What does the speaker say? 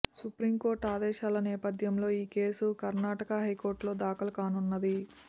supreme court ఆదేశాల నేపథ్యంలో ఈ కేసు కర్ణాటక హైకోర్టులో దాఖలు కానున్నది